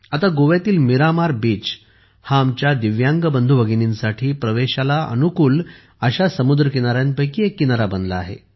आता गोव्यातील मीरामार बीच हा आमच्या दिव्यांग बंधू भगिनींसाठी प्रवेशाला अनुकूल अशा समुद्र किनाऱ्यांपैकी एक किनारा बनला आहे